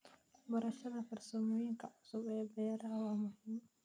Barashada farsamooyinka cusub ee beeraha waa muhiim.